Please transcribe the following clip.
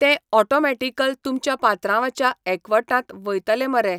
तें ऑटोमेटिकल तुमच्या पात्रांवाच्या एकावटांत वयतले मरे